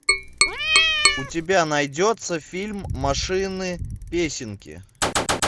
у тебя найдется фильм машины песенки